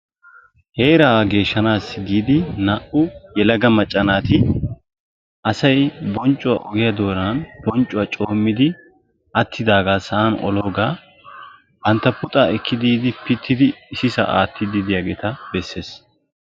heeraa geeshshanassi giidi naa"u yelaga macca naati asay bonccuwaa ogiyaa bonccuwaa coommidi attidaagaa sa'an oloogaa bantta puuxaa ekki biidi pittidi issisaa attiidi diyoogaa beessees.